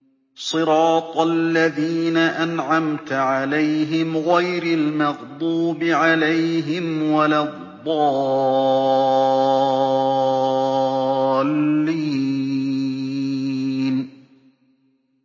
صِرَاطَ الَّذِينَ أَنْعَمْتَ عَلَيْهِمْ غَيْرِ الْمَغْضُوبِ عَلَيْهِمْ وَلَا الضَّالِّينَ